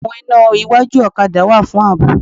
Àwọn iná iwájú ọ̀kadà wà fún ààbò